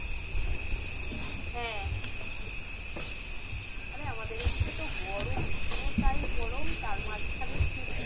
হ্যাঁ আরে আমাদের ওখানে তো গরমই পুরো টাই গরম তার মাঝখানে শীত টা,